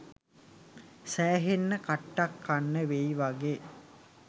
සෑහෙන්න කට්ටක් කන්න වෙයි වගෙ